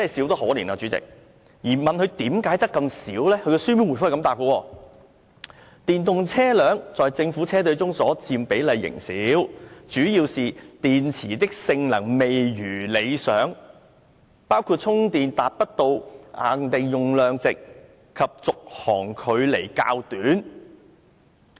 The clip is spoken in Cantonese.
當局長被問及為何數量只有這麼少時，他回答表示，"電動車輛在政府車隊中所佔比例仍是少數，主要是電池的性能未如理想，包括充電達不到限定用量值及續航距離較短"。